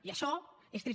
i això és trist